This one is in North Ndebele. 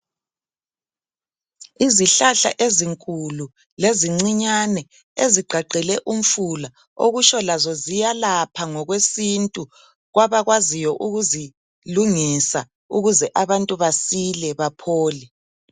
Izihlahla ezinkulu lezincinyane ,ezigqagqele umfula okusho lazo ziyalapha ngokwesintu kwabakwaziyo ukuzilungisa ukuze abantu basile baphole.